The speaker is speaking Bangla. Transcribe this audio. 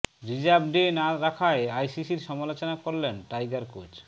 রিজার্ভ ডে না রাখায় আইসিসির সমালোচনা করলেন টাইগার কোচ